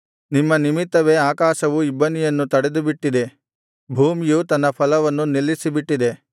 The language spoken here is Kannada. ನಿಮ್ಮ ನಿಮಿತ್ತವೇ ಆಕಾಶವು ಇಬ್ಬನಿಯನ್ನು ತಡೆದುಬಿಟ್ಟಿದೆ ಭೂಮಿಯು ತನ್ನ ಫಲವನ್ನು ನಿಲ್ಲಿಸಿಬಿಟ್ಟಿದೆ